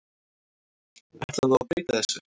Ætlar þú að breyta þessu?